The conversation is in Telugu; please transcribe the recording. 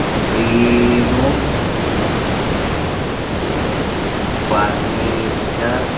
శ్రీను ఫర్నిచర్ .